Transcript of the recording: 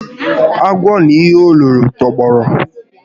Agwọ na ihe o loro tọgbọrọ